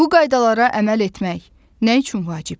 Bu qaydalara əməl etmək nə üçün vacibdir?